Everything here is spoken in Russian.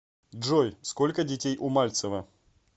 джой сколько детей у мальцева